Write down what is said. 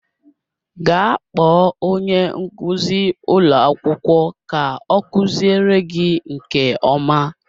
Gaa kpọọ onye nkuzi ụlọ akwụkwọ ka ọ kuziere gị nke ọma